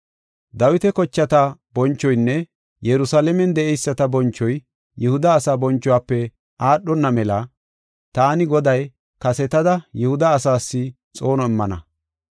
“Dawita kochata bonchoynne Yerusalaamen de7eyisata bonchoy Yihuda asaa bonchuwafe aadhona mela taani Goday kasetada Yihuda asaas xoono immana.